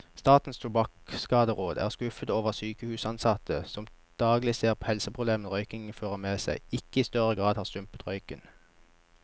Statens tobakkskaderåd er skuffet over at sykehusansatte, som daglig ser helseproblemene røykingen fører med seg, ikke i større grad har stumpet røyken.